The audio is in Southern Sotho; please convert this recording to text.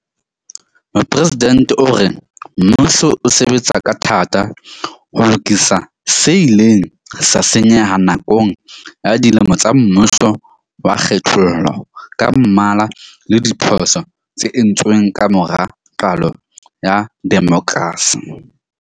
Mopresidente o re mmuso o sebetsa ka thata ho lokisa se ileng sa senyeha nakong ya dilemo tsa mmuso wa kgethollo ka mmala le diphoso tse entsweng ka mora qalo ya demokrasi.